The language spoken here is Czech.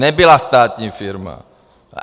Nebyla státní firma.